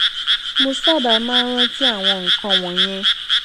mo sábà máa ń rántí àwọn nǹkan wònyẹn